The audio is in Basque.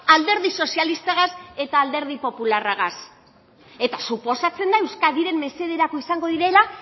alderdi sozialistagaz eta alderdi popularragaz eta suposatzen da euskadiren mesederako izango direla